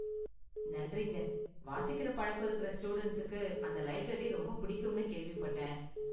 நன்றிங்க, வாசிக்குற பழக்கம் இருக்கற ஸ்டூடண்ட்ஸுக்கு அந்த லைப்ரரி ரொம்ப பிடிக்கும்னு கேள்விப்பட்டேன்.